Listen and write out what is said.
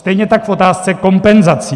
Stejně tak v otázce kompenzací.